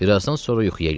Bir azdan sonra yuxuya getdi.